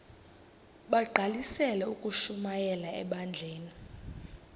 bagqalisele ukushumayela ebandleni